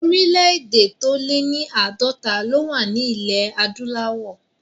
Orílẹ̀ èdè tó lé ní àádọ́ta ló wà ní ilẹ̀ adúláwọ̀